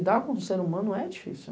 Lidar com o ser humano é difícil.